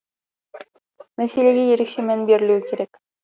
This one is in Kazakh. мәселеге ерекше мән берілуі керек